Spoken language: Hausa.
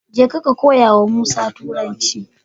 Jeka ka koya wa musa turanci